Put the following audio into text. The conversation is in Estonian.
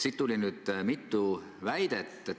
Siit tuli nüüd mitu väidet.